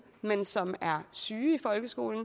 men som er syge i folkeskolen